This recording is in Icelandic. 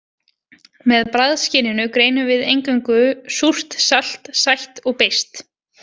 Með bragðskyninu greinum við eingöngu súrt, salt, sætt og beiskt.